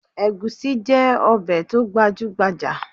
Egusi jẹ́ ọbẹ̀ tó gbajúgbajà